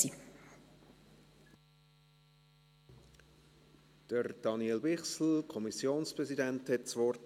Daniel Bichsel, Kommissionspräsident der FiKo, hat das Wort.